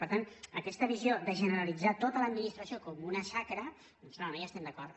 per tant aquesta visió de generalitzar tota l’administració com una xacra doncs no no hi estem d’a cord